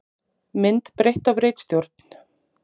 Mynd breytt af ritstjórn.